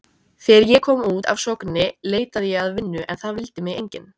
Þegar ég kom út af Sogni leitaði ég að vinnu en það vildi mig enginn.